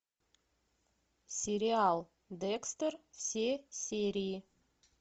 сериал декстер все серии